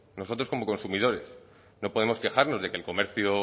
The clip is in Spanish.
nosotros como consumidores no podemos quejarnos de que el comercio